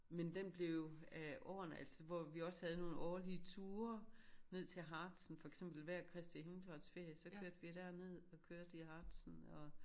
Men den blev af årene altså hvor vi også havde nogle årlige turer ned til Harzen for eksempel hver Kristi himmelfartsferie så kørte vi derned og kørte i Harzen og